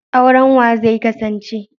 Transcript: Auren wa zai kasance?